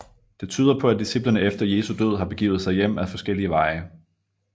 Det tyder på at disciplene efter Jesu død har begivet sig hjem ad forskellige veje